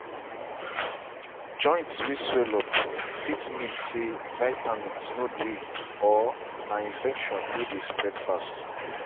joint way swallow up fit mean say vitamins no dey or na infection way dey spread fast.